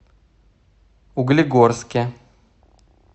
углегорске